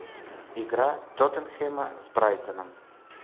игра тоттенхэма с брайтоном